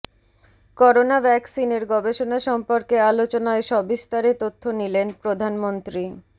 corona ভ্যাকসিনের গবেষণা সম্পর্কে আলোচনায় সবিস্তারে তথ্য নিলেন প্রধানমন্ত্রী